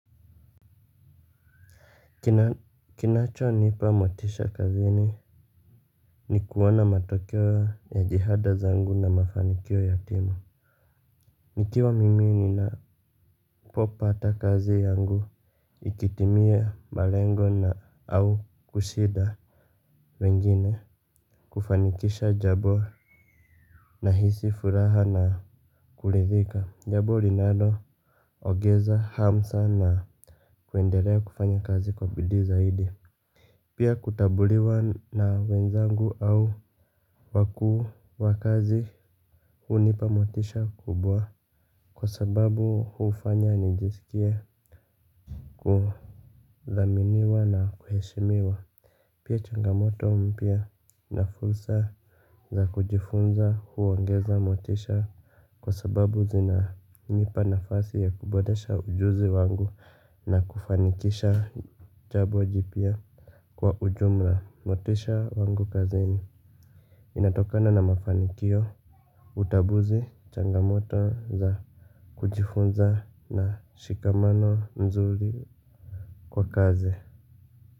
Kinachonipa motisha kazini ni kuona matokeo ya jihada zangu na mafanikio ya timu nikiwa mimi ninapopata kazi yangu ikitimia malengo na au kushida wengine kufanikisha jambo nahisi furaha na kuridhika jambo linalo ongeza hamu sana na kuendelea kufanya kazi kwa bidi zaidi. Pia kutabuliwa na wenzangu au wakuu wakazi hunipa motisha kubwa kwa sababu hufanya nijisikie kudhaminiwa na kuheshimiwa. Pia changamoto mpya na fursa za kujifunza huongeza motisha kwa sababu zina nipa nafasi ya kuboresha ujuzi wangu na kufanikisha jambo jipya. Kwa ujumla motisha wangu kazini inatokana na mafanikio utambuzi changamoto za kujifunza na shikamano nzuri kwa kazi.